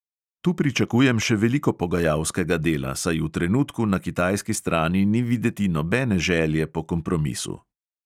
Tu pričakujem še veliko pogajalskega dela, saj v trenutku na kitajski strani ni videti nobene želje po kompromisu.